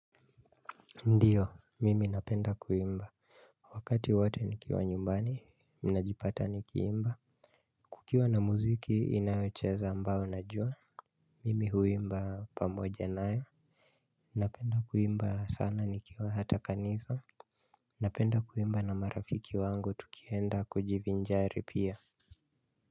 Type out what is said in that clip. Ndiyo, mimi napenda kuimba. Wakati wote nikiwa nyumbani, ninajipata nikiimba. Kukiwa na muziki inayocheza ambao najua mimi huimba pamoja naye. Napenda kuimba sana nikiwa hata kanisa. Napenda kuimba na marafiki wangu, tukienda kujivinjari pia.